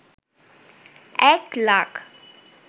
১ lakh